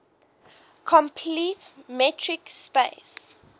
complete metric space